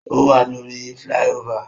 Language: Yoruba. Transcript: O wa lórí flyover